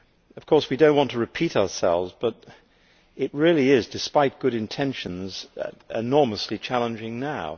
Of course we do not want to repeat ourselves, but it really is, despite good intentions, enormously challenging now.